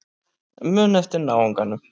Muna eftir náunganum.